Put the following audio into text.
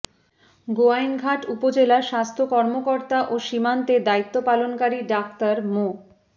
গোয়াইনঘাট উপজেলা স্বাস্থ্য কর্মকর্তা ও সীমান্তে দায়িত্ব পালনকারী ডাক্তার মো